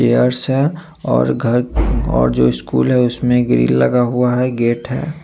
Yards है और घर और जो स्कूल है उसमे ग्रिल लगा हुआ है गेट है।